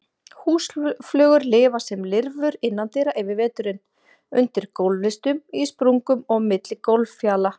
Húsflugur lifa sem lirfur innandyra yfir veturinn, undir gólflistum, í sprungum og á milli gólffjala.